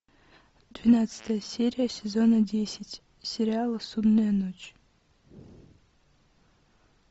двенадцатая серия сезона десять сериала судная ночь